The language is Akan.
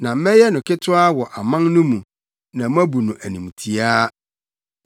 “Na mɛyɛ wo ketewa wɔ aman no mu, na wɔabu wo animtiaa.